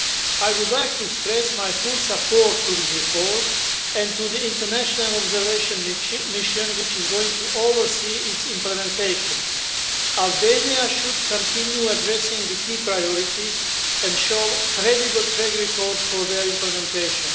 I would like to stress my full support for this reform, and to the International Observation Mission, which is going to oversee its implementation. Albania should continue addressing the key priorities and show a credible track record for their implementation.